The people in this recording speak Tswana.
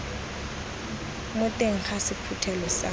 mo teng ga sephuthelo sa